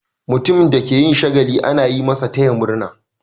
Mutumin da ke yin shagali ana yi masa "taya murna".